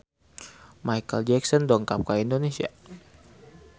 Micheal Jackson dongkap ka Indonesia